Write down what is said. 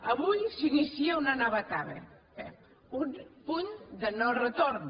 avui s’inicia una nova etapa un punt de no retorn